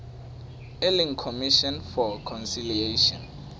e leng commission for conciliation